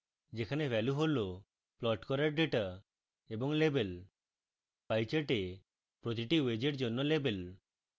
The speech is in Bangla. যেখানে ভ্যালু হল প্লট করার ডেটা এবং labelsপাই chart প্রতিটি wedge এর জন্য labels